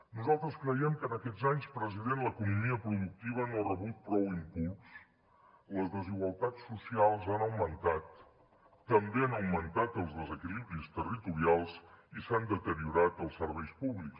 nosaltres creiem que en aquests anys president l’economia productiva no ha rebut prou impuls les desigualtats socials han augmentat també han augmentat els desequilibris territorials i s’han deteriorat els serveis públics